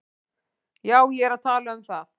Já, ég er að tala um það.